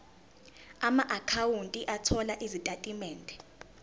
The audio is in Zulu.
amaakhawunti othola izitatimende